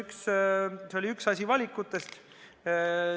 See oligi üks valikutest.